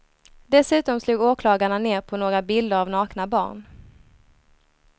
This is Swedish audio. Dessutom slog åklagarna ned på några bilder av nakna barn.